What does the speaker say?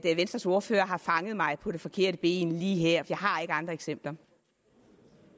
at venstres ordfører har fanget mig på det forkerte ben lige her jeg har ikke andre eksempler